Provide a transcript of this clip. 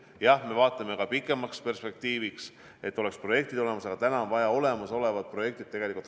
Jah, me vaatame ka pikemas perspektiivis, et projektid oleks olemas, aga täna on vaja rakendada olemasolevad projektid.